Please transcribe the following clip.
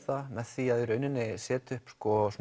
með því í rauninni setja upp